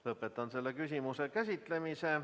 Lõpetan selle küsimuse käsitlemise.